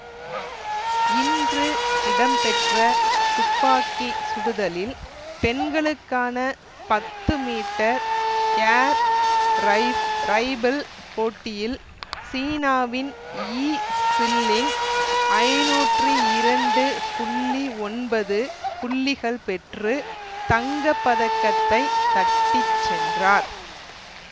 இன்று இடம்பெற்ற துப்பாக்கி சுடுதலில் பெண்களுக்கான பத்து மீட்டர் ஏர் ரை ரைபிள் போட்டியில் சீனாவின் யி சில்லிங் ஐநூற்றி இரண்டு புள்ளி ஒன்பது புள்ளிகள் பெற்று தங்க பதக்கத்தை தட்டி சென்றார்